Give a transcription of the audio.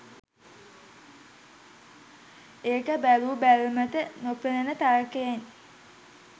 ඒක බැලූ බැල්මට නොපෙනෙන තර්කයෙන්.